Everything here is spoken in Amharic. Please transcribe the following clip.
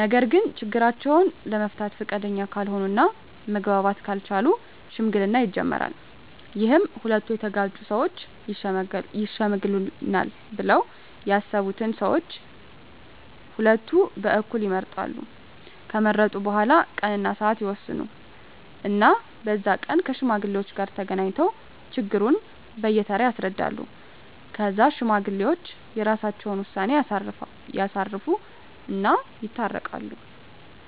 ነገርግ ችግራቸውን ለመፍታት ፈቃደኛ ካልሆነ እና መግባባት ካልቻሉ ሽምግልና ይጀመራል ይህም ሁለቱ የተጋጩ ሠወች ይሽመግሉናል ብለው ያሠቡትን ሠዎች ቀሁለቱ በኩል ይመርጣሉ ከመረጡ በኋላ ቀን እና ስዓት ይወስኑ እና በዛ ቀን ከሽማግሌዎች ጋር ተገናኝተው ችግሩን በየ ተራ ያስረዳሉ ከዛ ሽማግሌዎች የራሰቸውን ውሳኔ ያሳርፉ እና ይታረቃሉ